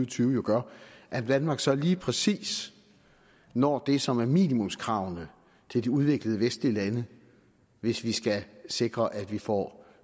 tyve gør at danmark så lige præcis når det som er minimumskravene til de udviklede vestlige lande hvis vi skal sikre at vi får